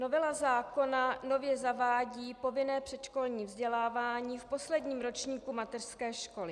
Novela zákona nově zavádí povinné předškolní vzdělávání v posledním ročníku mateřské školy.